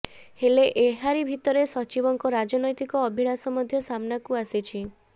ହେଲେ ଏହାରି ଭିତରେ ସଚିବଙ୍କ ରାଜନୈତିକ ଅଭିଳାଷା ମଧ୍ୟ ସାମ୍ନାକୁ ଆସିଛି